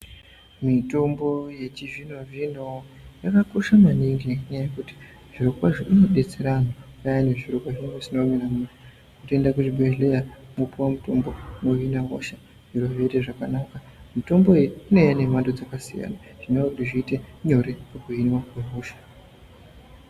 Mitombo yechizvino-zvino yakakosha maningi nenyaya yekuti zvirokwazvo inodetsera antu payani zviro pazvinenge zvisina kumira mushe. Kutoenda kuzvibhedhleya mopuwa mutombo mohina hosha, zviro zvotoite zvakanaka. Mitombo iyi inouya nemhando dzakasiyana zvinova kuti zviite nyore pakuhinwa kwehosha.